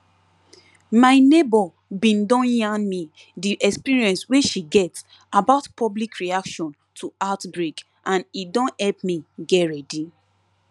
my neighbor bin don yarn me the experience wey she get about public reaction to outbreak and e don help me get ready